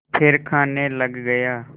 फिर खाने लग गया